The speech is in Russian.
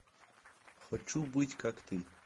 хочу быть как ты